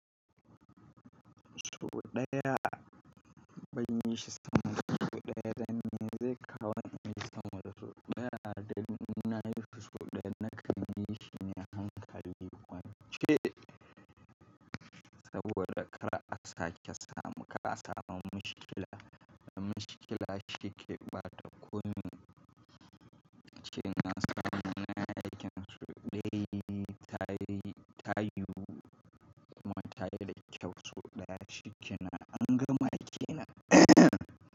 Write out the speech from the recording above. So ɗaya ban yi shi sama da so ɗaya, dan me zai kawo min samun so ɗaya? Dan ina yi so ɗaya na kamshi ne hankali, wance saboda kara a sake samu, ka samu mushkila. Da mushkila shi ke ɓata kunne, shi ya sa mun na yakin so ɗaya. Ta yi, ta yiwu kuma ta yi da kyau. So ɗaya shi ke nan an gama kenan.